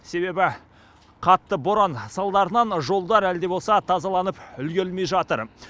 себебі қатты боран салдарынан жолдар әлі де болса тазаланып үлгермей жатыр